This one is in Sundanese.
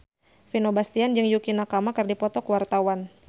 Vino Bastian jeung Yukie Nakama keur dipoto ku wartawan